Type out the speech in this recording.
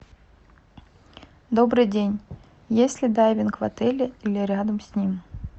добрый день есть ли дайвинг в отеле или рядом с ним